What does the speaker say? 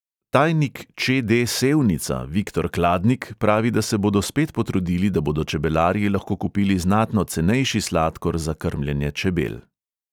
Tajnik če|de sevnica viktor kladnik pravi, da se bodo spet potrudili, da bodo čebelarji lahko kupili znatno cenejši sladkor za krmljenje čebel.